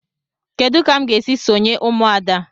Kedụ ka m ga esị sonye ụmụada?